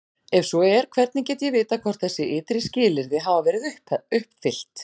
Ef svo er, hvernig get ég vitað hvort þessi ytri skilyrði hafa verið uppfyllt?